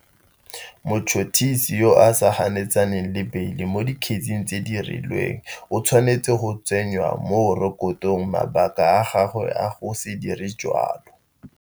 Motšhotšhisi yo a sa ganetsaneng le beile mo dikgetseng tse di rileng o tshwanetse go tsenya mo rekotong mabaka a gagwe a go se dire jalo.